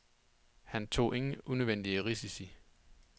Han tog ingen unødvendige risici.